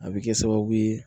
A bɛ kɛ sababu ye